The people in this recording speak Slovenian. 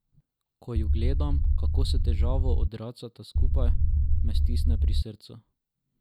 Ko ju gledam, kako s težavo odracata skupaj, me stisne pri srcu.